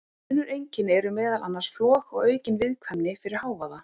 Önnur einkenni eru meðal annars flog og aukin viðkvæmni fyrir hávaða.